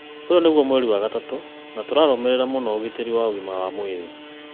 ũyũ nĩgũo mweri wa gatatũ na nĩtũrarũmĩrĩra mũno ũgitĩri wa ũgima wa mwĩrĩ.